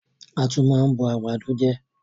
A tún máa ń bọ àgbàdo je